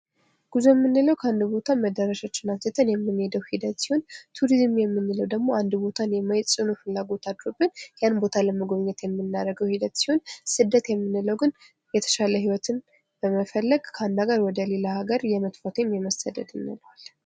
ጉዞ የምንለው ከአንድ ቦታ መዳረሻችንን አውጥተን የምንሄደው ሲሆን ቱሪዝም የምንለው ደግሞ አንድን ቦታ የማየት ጽኑ ፍላጎት አድሮብን ያንን ቦታ ለመጎብኘት የምናደርገው ሂደት ሲሆን ስደት የምንለው ግን የተሻለ ህይወትን በመፈለግ ከአንድ ሃገር ወደ ሌላ ሃገር የመጥፋት ወይም የመሰደድ እንለዋለን።